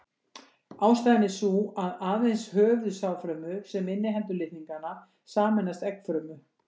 Ástæðan er sú að aðeins höfuð sáðfrumu sem inniheldur litningana sameinast eggfrumu.